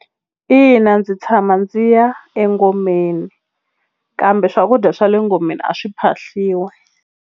Ina ndzi tshama ndzi ya engomeni kambe swakudya swa le ngomeni a swi phahliwi.